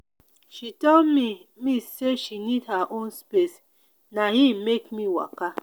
she tell me me sey she need her own space na im make me waka.